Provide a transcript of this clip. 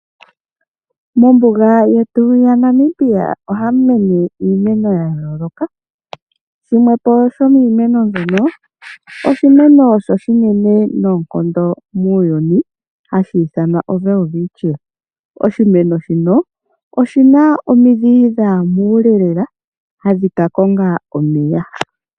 Mombuga yetu ya Namib ohamu mene iimeno ya yooloka. Shimwe po shomiimeno mbyono oshimeno oshinene noonkondo muuyuni hashi ithanwa Welwitchia. Oshimeno shino oshi na omidhi dha ya muule lela hadhi ka konga omeya.